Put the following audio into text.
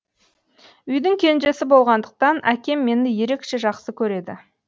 үйдің кенжесі болғандықтан әкем мені ерекше жақсы көреді